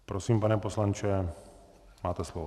Prosím, pane poslanče, máte slovo.